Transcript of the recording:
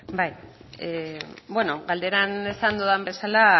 da hitza bueno galderan esan dudan bezala